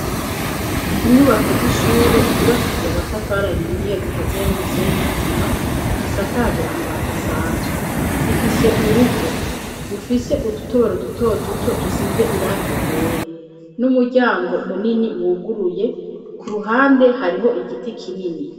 inyubako z'ishure zubakishije amatafari ahiye zikaziye n'umusenyi nisima zisakaje amabati asanzwe zifise urugo rufise udutoboro duto duto dusize irangi ryera n'umuryango munini wuguruye ku ruhande hariho igiti kinini